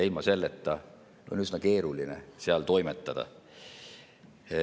Ilma selleta on üsna keeruline seal toimetada.